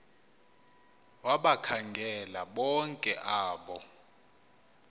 wabakhangela bonke abo